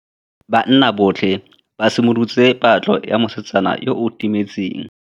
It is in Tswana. Banna botlhê ba simolotse patlô ya mosetsana yo o timetseng.